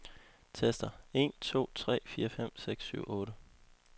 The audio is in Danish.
Tester en to tre fire fem seks syv otte.